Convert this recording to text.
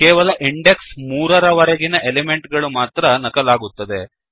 ಕೇವಲ ಇಂಡೆಕ್ಸ್ 3 ರ ವರೆಗಿನ ಎಲಿಮೆಂಟಗಳು ಮಾತ್ರ ನಕಲಾಗಿರುತ್ತದೆ